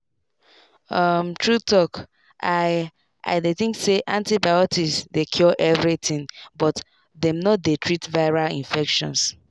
umtrue talk i i dey think say antibiotics dey cure everything but dem no dey treat viral infections.